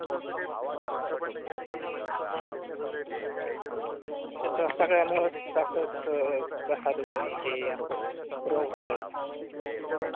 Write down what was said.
याच्या सगळ्यामुळच श्वासाच घसा दुखणे हे असं रोग होतात.